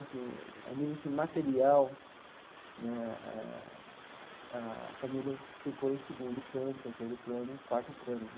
Assim a nível assim material né, a família ficou em segundo plano, terceiro plano, quarto plano.